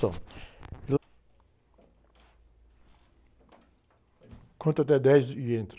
Deu? Conta até dez e entra.